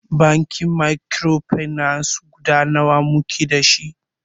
Bankin mikrofinance guda nawa muke dashi?